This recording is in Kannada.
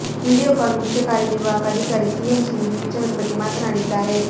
ವಿಡಿಯೋಕಾನ್ ಮುಖ್ಯ ಕಾರ್ಯನಿರ್ವಾಹಕ ಅಧಿಕಾರಿ ಸಿಎಂ ಸಿಂಗ್ ಈ ವಿಚಾರದ ಬಗ್ಗೆ ಮಾತನಾಡಿದ್ದಾರೆ